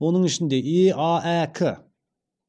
оның ішінде еаәк